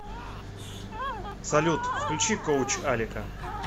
салют включи коуч алика